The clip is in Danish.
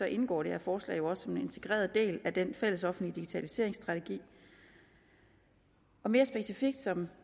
indgår det her forslag jo også som en integreret del af den fællesoffentlige digitaliseringsstrategi mere specifikt som